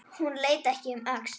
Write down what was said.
Hún leit ekki um öxl.